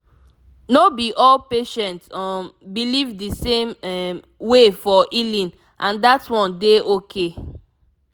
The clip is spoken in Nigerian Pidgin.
no be all patient um believe the same um way for healing and that one dey okay